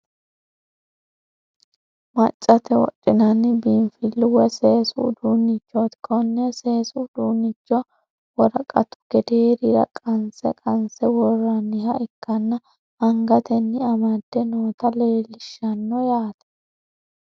Maccate wodhinanni biinfillu woy seesu uduunnichooti. Konne seesu uduunnicho woraqatu gedeerira qanse qanse worrooniha ikkana angatenni amade noota leellishshano yaate.